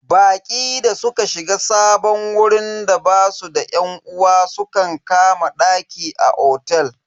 Baƙi da suka shiga sabon wurin da basu da yan uwa sukan kama daki a otel.